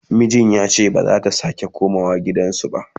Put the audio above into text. mijin yace bazata Kara komawa gidansa ba